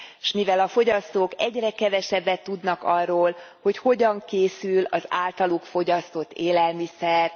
s mivel a fogyasztók egyre kevesebbet tudnak arról, hogy hogyan készül az általuk fogyasztott élelmiszer,